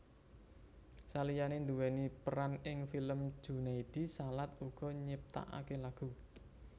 Saliyane nduweni peran ing film Junaedi Salat uga nyiptakake lagu